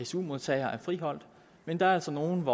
su modtagere er friholdt men der er altså nogle